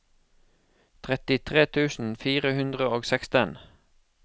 trettitre tusen fire hundre og seksten